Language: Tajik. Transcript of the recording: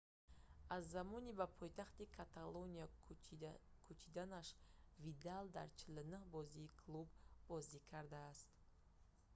аз замони ба пойтахти каталония кӯчиданаш видал дар 49 бозии клуб бозӣ кардааст